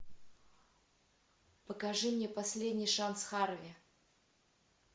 покажи мне последний шанс харви